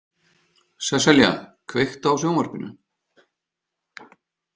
Sesselja, kveiktu á sjónvarpinu.